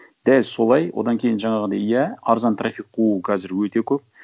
дәл солай одан кейін жаңағындай иә арзан трафик қуу қазір өте көп